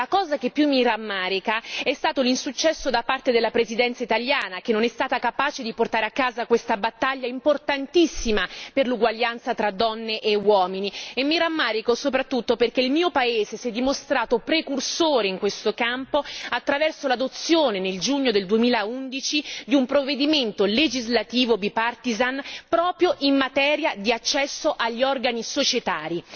Ma la cosa che più mi rammarica è stato l'insuccesso da parte della Presidenza italiana che non è stata capace di portare a casa questa battaglia importantissima per l'uguaglianza tra donne e uomini e mi rammarico soprattutto perché il mio paese si è dimostrato precursore in questo campo attraverso l'adozione nel giugno del 2011 di un provvedimento legislativo bipartisan proprio in materia di accesso agli organi societari.